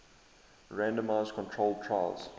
randomized controlled trials